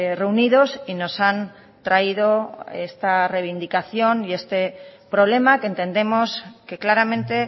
reunidos y nos han traído esta reivindicación y este problema que entendemos que claramente